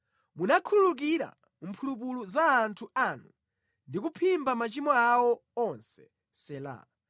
Munakhululukira mphulupulu za anthu anu ndi kuphimba machimo awo onse. Sela